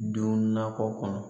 Don nakɔ kɔnɔ